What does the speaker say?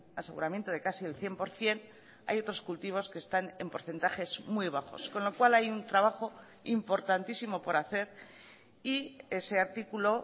aseguramiento de casi el cien por ciento hay otros cultivos que están en porcentajes muy bajos con lo cual hay un trabajo importantísimo por hacer y ese artículo